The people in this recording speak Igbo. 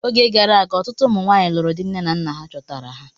Oge gara aga, ọtụtụ ụmụ nwanyị lụrụ di nne na nna ha chọtara.